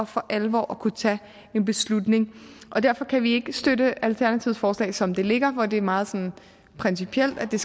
for alvor at kunne tage en beslutning derfor kan vi ikke støtte alternativets forslag som det ligger hvor det er meget sådan principielt at det